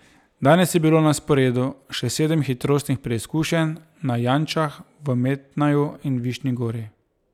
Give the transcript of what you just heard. Danes je bilo na sporedu še sedem hitrostnih preizkušenj na Jančah, v Metnaju in Višnji Gori.